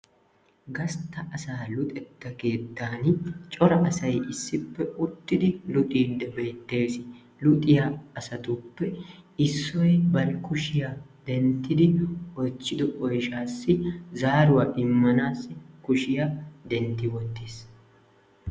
Gastta asaa luxetta keettan cora asayi issippe uttidi luxiiddi beettes. Luxiya asatuppe Issoyi bari kushiya denttidi oychchido oyshaassi zaaruwa immanaassi kushiya dentti wottis.